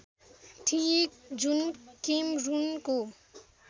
थिए जुन केमरूनको